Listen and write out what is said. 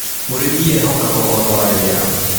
Mũrĩmi ehokaga ũhoro wa rĩera